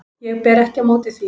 Ég ber ekki á móti því.